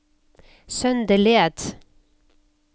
Søndeled